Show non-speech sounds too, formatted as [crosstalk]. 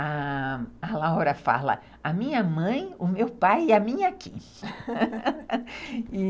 A Laura fala, a minha mãe, o meu pai e a minha Kim, [laughs]